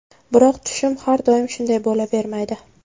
Biroq tushum har doim shunday bo‘lavermaydi.